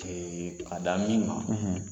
Ee ka da min ma